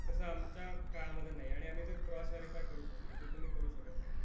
तसं आमच्या काळामध्ये नाही. आणि आम्ही ते क्रॉस व्हेरिफाय करू शकतो, जो जे तुम्ही करू शकत नाही